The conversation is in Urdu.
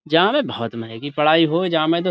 جا میں بہت مہنگی پڑھاے ہوے، جا میں تو۔.